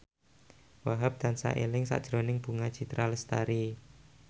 Wahhab tansah eling sakjroning Bunga Citra Lestari